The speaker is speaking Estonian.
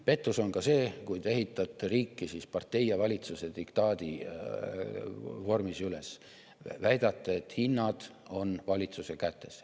Pettus on ka see, kui te ehitate riiki partei ja valitsuse diktaadi vormis üles, väidate, et hinnad on valitsuse kätes.